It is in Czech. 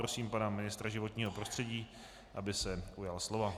Prosím pana ministra životního prostředí, aby se ujal slova.